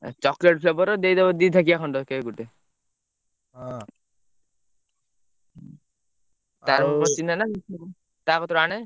Chocolate flavour ର ଦେଇ ଦବ ଦି ଥାକିଆ ଖଣ୍ଡେ cake ଗୁଟେ, ତାର ମୋର ଚିହ୍ନା ନାଁ, ତା କତିରୁ ଆଣେ।